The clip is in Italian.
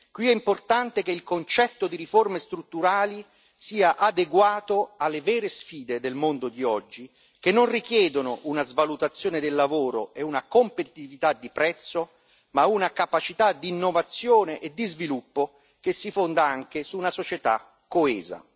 Qui è importante che il concetto di riforme strutturali sia adeguato alle vere sfide del mondo di oggi, che non richiedono una svalutazione del lavoro e una competitività di prezzo, ma una capacità d'innovazione e di sviluppo che si fonda anche su una società coesa.